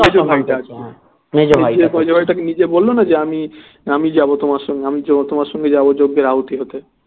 মেজ ভাইটা নিজে বললো না আমি যাবো তোমার সঙ্গে আমি তোমার সঙ্গে যাবো যোগ্যের আহুতি হতে